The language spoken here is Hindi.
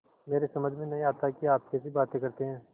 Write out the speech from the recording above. मेरी समझ में नहीं आता कि आप कैसी बातें करते हैं